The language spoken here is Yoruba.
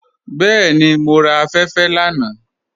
Bẹẹni, mọ ra afẹ́fẹ́ lánà.